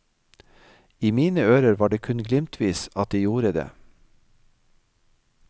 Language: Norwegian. I mine ører var det kun glimtvis at de gjorde det.